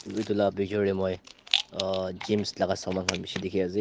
edu la bictuer deh moi uhh gims laga saman khan bishi dikhi asey.